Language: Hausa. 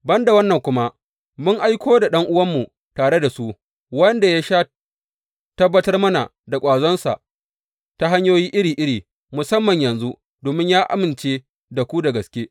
Ban da wannan kuma, mun aiko da ɗan’uwanmu tare da su, wanda ya sha tabbatar mana da ƙwazonsa ta hanyoyi iri iri, musamman yanzu, domin ya amince da ku da gaske.